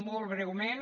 molt breument